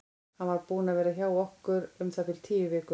Hann var búinn að vera hjá okkur um það bil tíu vikur.